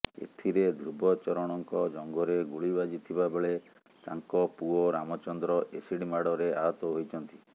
ଏଥିରେ ଧ୍ରୁବଚରଣଙ୍କ ଜଙ୍ଘରେ ଗୁଳି ବାଜିଥିବା ବେଳେ ତାଙ୍କ ପୁଅ ରାମଚନ୍ଦ୍ର ଏସିଡ ମାଡ଼ରେ ଆହତ ହୋଇଛନ୍ତି